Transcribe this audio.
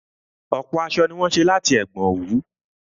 Ọ̀pọ̀ aṣọ ni wọ́n ṣé láti ẹ̀gbọn òwú